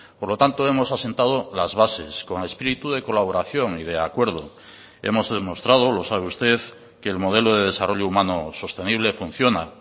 por lo tanto hemos asentado las bases con espíritu de colaboración y de acuerdo hemos demostrado lo sabe usted que el modelo de desarrollo humano sostenible funciona